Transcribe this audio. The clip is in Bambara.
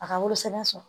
A ka wolosɛbɛn sɔrɔ